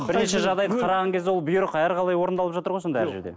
бірінші жағдайды қараған кезде ол бұйрық әрқалай орындалып жатыр ғой сонда әр жерде